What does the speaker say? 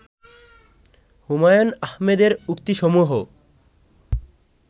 হুমায়ুন আহমেদের উক্তি সমূহ